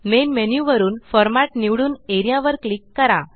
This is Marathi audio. मेन मेन्यु वरूनFormat निवडून एआरईए वर क्लिक करा